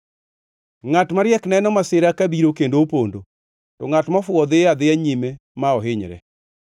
Ngʼat mariek neno masira kabiro kendo opondo, to ngʼat mofuwo dhiyo adhiya nyime ma ohinyre.